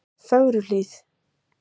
Fögruhlíð